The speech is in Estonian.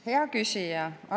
Hea küsija!